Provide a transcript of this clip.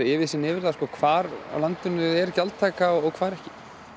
yfirsýn yfir það hvar á landinu er gjaldtaka og hvar ekki